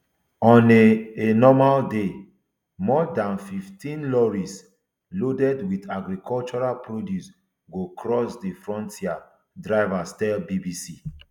on a a normal day more dan fifteen lorries loaded with agricultural produce go cross di frontier drivers tell bbc